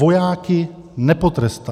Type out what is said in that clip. Vojáky nepotrestá.